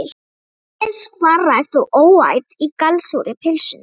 Ásgeirs, vanrækt og óæt í gallsúrri pylsunni.